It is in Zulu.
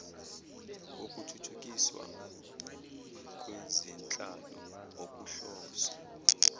wokuthuthukiswa kwezenhlalo okuhloswe